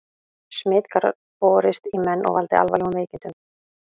Smit gat borist í menn og valdið alvarlegum veikindum.